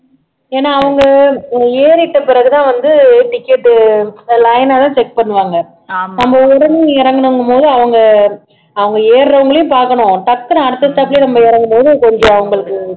ஏன்னா அவங்க ஏறீட்ட பிறகு தான் வந்து ticket உ line ஆ தான் check பண்ணுவாங்க நம்ம உடனே இறங்கணுங்கும் போது அவங்க அவங்க ஏறுறவங்களையும் பாக்கணும் டக்குன்னு அடுத்த stop லயே இறங்குன உடனே கொஞ்சம் அவங்களுக்கு